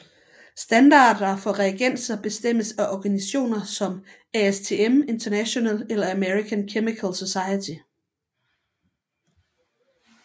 Standarder for reagenser bestemmes af organisationer som ASTM International eller American Chemical Society